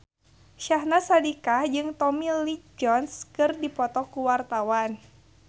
Syahnaz Sadiqah jeung Tommy Lee Jones keur dipoto ku wartawan